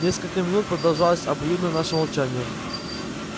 несколько минут продолжалось обоюдно наше молчание